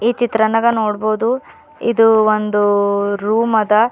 ಈ ಚಿತ್ರನಾಗ ನೋಡ್ಬೋದು ಇದು ಒಂದು ರೂಮ್ ಅದ.